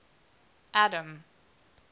adam